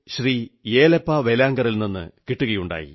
യേലപ്പാ വേലാങ്കറിൽ നിന്നു കിട്ടുകയുണ്ടായി